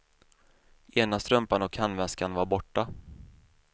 Ena strumpan och handväskan var borta.